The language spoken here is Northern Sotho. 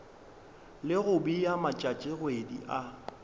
le go bea matšatšikgwedi a